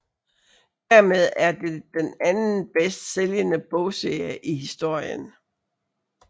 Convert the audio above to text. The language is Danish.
Dermed er det den anden bedst sælgende bogserie i historien